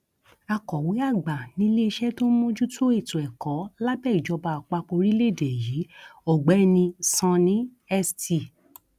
akọwé àgbà níléeṣẹ tó ń mójútó ètò ẹkọ lábẹ ìjọba àpapọ orílẹèdè yìí ọgbẹni sonny st